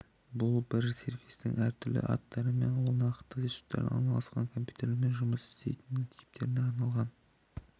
бұл бір сервистің әртүрлі аттары ол нақты ресурстары орналасқан компьютерлерімен жұмыс істерін типтеріне арналған